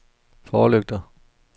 forlygter